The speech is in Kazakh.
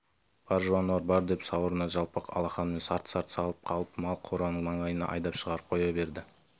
бар жануар бар деп сауырына жалпақ алақанымен сарт-сарт салып қалып мал қораның маңайынан айдап шығарып қоя берді